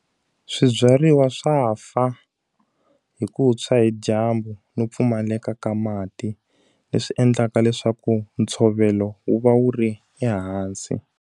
Swibyariwa swa fa, hi ku tshwa hi dyambu no pfumaleka ka mati. Leswi endlaka leswaku ntshovelo wu va wu ri ehansi.